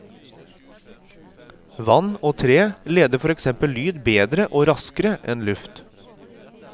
Vann og tre leder for eksempel lyd bedre og raskere enn luft.